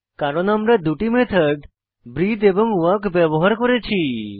কারণ আমরা দুটি মেথড ব্রিথে এবং ওয়াক ব্যবহার করেছি